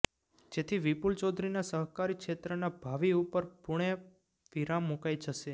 જેથી વિપુલ ચૌધરીના સહકારી ક્ષેત્રના ભાવિ ઉપર પૂણે વિરામ મુકાઈ જશે